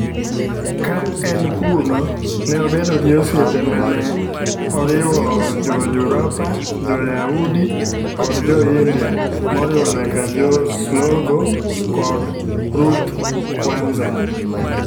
Ka en kuno, ne obedo gi osiepe ma ne oriwo Jo-Yuropa, Jo-Yahudi, koda Jo-India, moriwo nyaka Joe Slovo kod Ruth Kwanza.